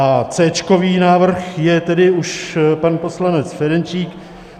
A céčkový návrh je tedy už pan poslanec Ferjenčík.